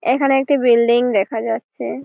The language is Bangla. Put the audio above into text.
এখানে একটি বিল্ডিং দেখা যাচ্ছে।